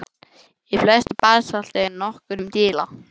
Í flestu basalti er nokkuð um díla.